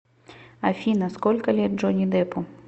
афина сколько лет джонни деппу